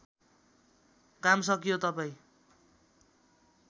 काम सकियो तपाईँ